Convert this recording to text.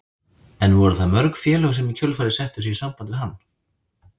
En voru það mörg félög sem í kjölfarið settu sig í samband við hann?